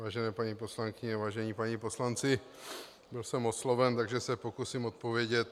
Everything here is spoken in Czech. Vážené paní poslankyně, vážení páni poslanci, byl jsem osloven, takže se pokusím odpovědět.